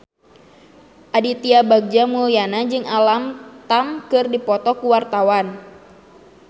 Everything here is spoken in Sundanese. Aditya Bagja Mulyana jeung Alam Tam keur dipoto ku wartawan